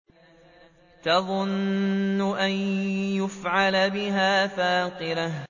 تَظُنُّ أَن يُفْعَلَ بِهَا فَاقِرَةٌ